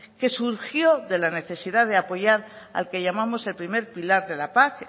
que surgió de la necesidad de apoyar al que llamamos el primer pilar de la paz